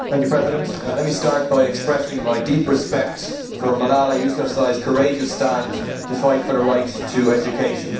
Mr President, let me start by expressing my deep respect for Malala Yousafzai's courageous stand to fight for the right to education.